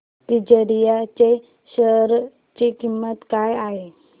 तिजारिया च्या शेअर ची किंमत काय आहे